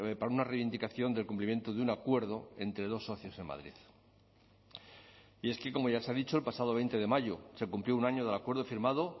para una reivindicación del cumplimiento de un acuerdo entre dos socios en madrid y es que como ya se ha dicho el pasado veinte de mayo se cumplió un año del acuerdo firmado